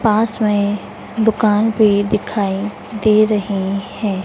पास में दुकान भी दिखाएं दे रहे हैं।